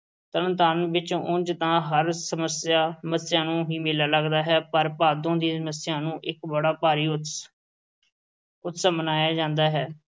ਤਰਨ ਤਾਰਨ ਵਿੱਚ ਉਂਜ ਤਾਂ ਹਰ ਮੱਸਿਆ ਨੂੰ ਹੀ ਮੇਲਾ ਲੱਗਦਾ ਹੈ ਪਰ ਭਾਦੋਂ ਦੀ ਮੱਸਿਆ ਨੂੰ ਇੱਕ ਬੜਾ ਭਾਰੀ ਉਤਸਵ ਮਨਾਇਆ ਜਾਂਦਾ ਹੈ।